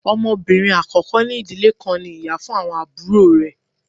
Ọmọbinrin akọkọ ni idile kan ní ìyá fun awọn aburo rẹ